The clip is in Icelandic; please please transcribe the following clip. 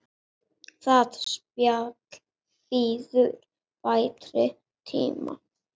Það spjall bíður betri tíma.